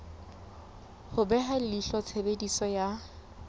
ho beha leihlo tshebediso ya